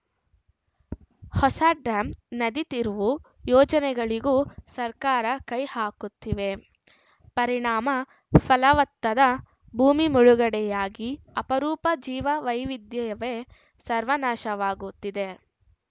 ಹೊಸ ಡ್ಯಾಂ ನದಿ ತಿರುವು ಯೋಜನೆಗಳಿಗೂ ಸರ್ಕಾರ ಕೈ ಹಾಕುತ್ತಿವೆ ಪರಿಣಾಮ ಫಲವತ್ತಾದ ಭೂಮಿ ಮುಳುಗಡೆಯಾಗಿ ಅಪರೂಪದ ಜೀವವೈವಿಧ್ಯವೇ ಸರ್ವನಾಶವಾಗುತ್ತಿದೆ